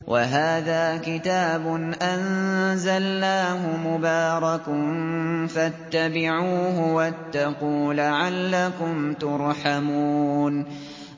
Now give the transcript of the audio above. وَهَٰذَا كِتَابٌ أَنزَلْنَاهُ مُبَارَكٌ فَاتَّبِعُوهُ وَاتَّقُوا لَعَلَّكُمْ تُرْحَمُونَ